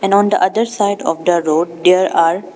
And on the other side of the road there are --